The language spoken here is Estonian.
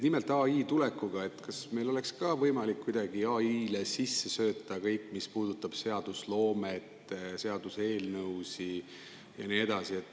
Nimelt, kas seoses AI tulekuga meil oleks võimalik kuidagi AI-le sisse sööta kõik, mis puudutab seadusloomet, seaduseelnõusid ja nii edasi?